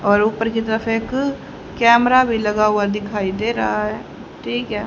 और ऊपर की तरफ एक कैमरा भी लगा हुआ दिखाई दे रहा है ठीक है।